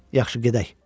Yaxşı, gedək.